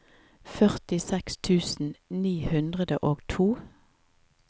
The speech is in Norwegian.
førtiseks tusen ni hundre og to